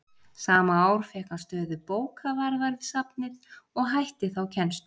Sama ár fékk hann stöðu bókavarðar við safnið og hætti þá kennslu.